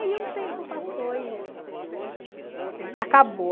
Aí o tempo passou e acabou.